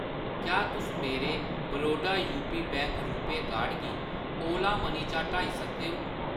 क्या तुस मेरे Baroda UP bank RuPay card गी ओला मनी चा हटाई सकदे ओ ?